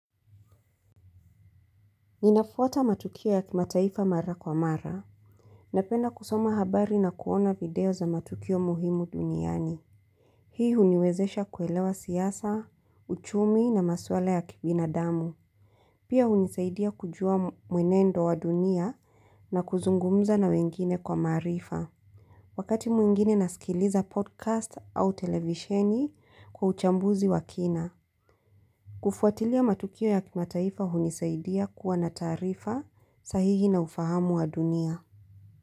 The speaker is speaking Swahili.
Ninafuata matukio ya kimataifa mara kwa mara. Napenda kusoma habari na kuona video za matukio muhimu duniani. Hii uniwezesha kuelewa siasa, uchumi na maswala ya kibinadamu. Pia unisaidia kujua mwenendo wa dunia na kuzungumza na wengine kwa maarifa. Wakati mwingine nasikiliza podcast au televisheni kwa uchambuzi wa kina. Kufuatilia matukio ya kimataifa hunisaidia kuwa na taarifa sahihi na ufahamu wa dunia.